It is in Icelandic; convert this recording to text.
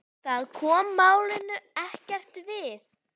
Það kom málinu ekkert við.